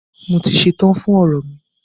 Mo ti ṣetán fún ọ̀rọ̀ mi.